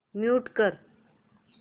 mute कर